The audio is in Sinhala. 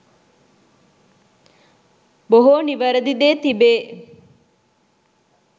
බොහෝ නිවැරැදි දේ තිබේ.